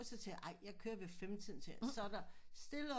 Så siger jeg ej jeg kører ved fem tiden så er der stille